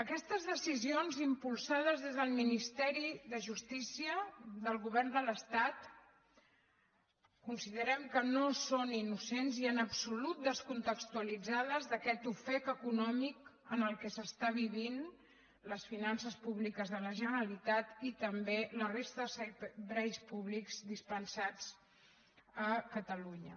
aquestes decisions impulsades des del ministeri de justícia del govern de l’estat considerem que no són innocents i en absolut descontextualitzades d’aquest ofec econòmic en el qual estan vivint les finances públiques de la generalitat i també la resta de serveis públics dispensats a catalunya